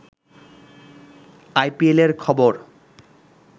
আইপিএলের খবর